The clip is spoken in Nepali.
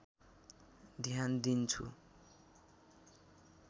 ध्यान दिन्छ